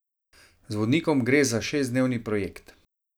Z vodnikom gre za šestdnevni projekt.